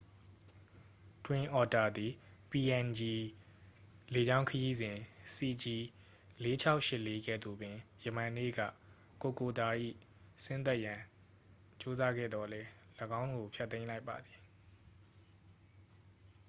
twin otter သည် png လေကြောင်းခရီးစဉ် cg4684 ကဲ့သို့ပင် ယမန်နေ့က kokoda ၌ဆင်းသက်ရန် ကြိုးစားခဲ့သော်လည်း ၎င်းကို ဖျက်သိမ်းလိုက်ပါသည်